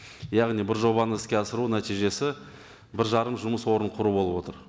яғни бір жобаны іске асыру нәтижесі бір жарым жұмыс орнын құру болып отыр